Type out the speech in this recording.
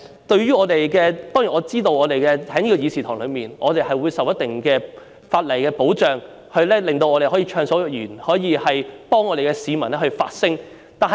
當然，我知道在這個議事堂內，我們受到一定的法例保障，令我們可以暢所欲言，可以為市民發聲。